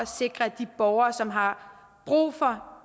sikre de borgere som har brug for